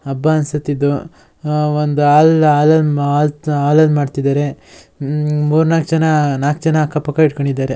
ಹಬ್ಬ ಅನ್ಸತ್ ಇದು ಒಂದ್ ಹಾಲ್ ಹಾಲ್ ಹಲ್ದ ಮಾಡ್ತಿದಾರೆ ಹ್ಮ್ ಮೂರ್ ನಾಲ್ಕ್ ಜನ ನಾಲ್ಕ್ ಜನ ಅಕ್ಕ ಪಕ್ಕ ಇಡ್ಕಂಡಿದಾರೆ.